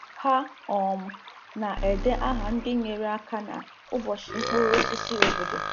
Ha um na-ede aha ndị nyere aka na ụbọchị mkpụrụ osisi obodo.